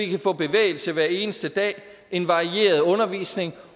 kan få bevægelse hver eneste dag en varieret undervisning